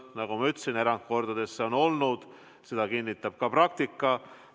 Nagu ma ütlesin, erandkordadel see on nii olnud, seda kinnitab ka praktika.